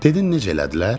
Dedin necə elədilər?